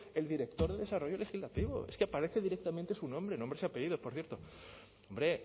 el director de desarrollo legislativo es que aparece directamente su nombre nombres y apellidos por cierto hombre